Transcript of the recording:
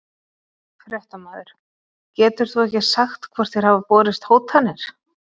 Fréttamaður: Getur þú ekki sagt hvort þér hafa borist hótanir?